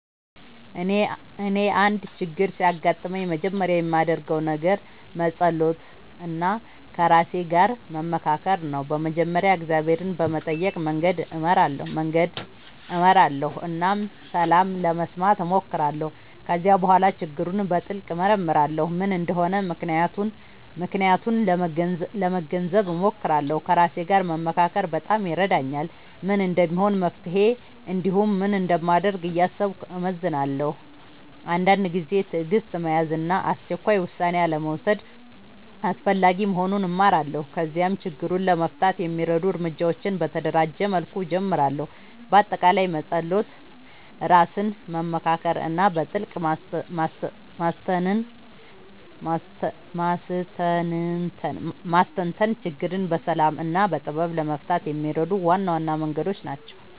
እኔ አንድ ችግር ሲያጋጥምኝ መጀመሪያ የማደርገው ነገር መጸሎት እና ከራሴ ጋር መመካከር ነው። በመጀመሪያ እግዚአብሔርን በመጠየቅ መንገድ እመራለሁ እና ሰላም ለመስማት እሞክራለሁ። ከዚያ በኋላ ችግሩን በጥልቅ እመርመራለሁ፤ ምን እንደሆነ ምክንያቱን ለመገንዘብ እሞክራለሁ። ከራሴ ጋር መመካከር በጣም ይረዳኛል፤ ምን እንደሚሆን መፍትሄ እንዲሁም ምን እንደማደርግ እያሰብኩ እመዝናለሁ። አንዳንድ ጊዜ ትዕግሥት መያዝ እና አስቸኳይ ውሳኔ አልመውሰድ አስፈላጊ መሆኑን እማራለሁ። ከዚያም ችግሩን ለመፍታት የሚረዱ እርምጃዎችን በተደራጀ መልኩ እጀምራለሁ። በአጠቃላይ መጸሎት፣ ራስን መመካከር እና በጥልቅ ማስተንተን ችግርን በሰላም እና በጥበብ ለመፍታት የሚረዱ ዋና ዋና መንገዶች ናቸው።